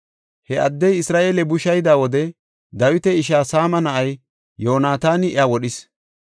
He addey Isra7eele bushayida wode Dawita ishaa Saama na7ay Yoonataani iya wodhis.